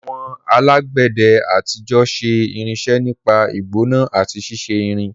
Àwọn alágbẹ̀dẹ àtijọ́ ṣe irinṣẹ́ nípa ìgbóná àti ṣíṣe irin.